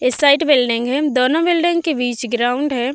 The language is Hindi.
इस साइड बिल्डिंग है। दोनों बिल्डिंग के बीच ग्राउंड हैं।